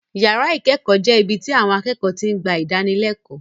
Yàrá ìkẹ́kọ̀ọ́ jẹ́ ibi tí àwon akẹ́kọ̀ọ́ ti ń gba ìdánilẹ́kọ̀ọ́.